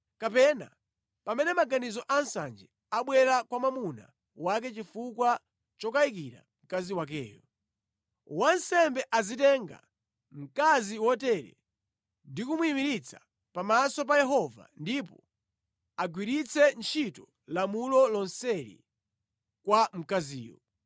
kapena pamene maganizo a nsanje abwera kwa mwamuna wake chifukwa chokayikira mkazi wakeyo. Wansembe azitenga mkazi wotere ndi kumuyimiritsa pamaso pa Yehova ndipo agwiritse ntchito lamulo lonseli kwa mkaziyo.